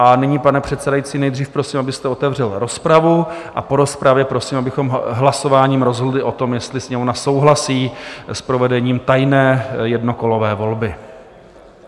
A nyní, pane předsedající, nejdřív prosím, abyste otevřel rozpravu, a po rozpravě prosím, abychom hlasováním rozhodli o tom, jestli Sněmovna souhlasí s provedením tajné jednokolové volby.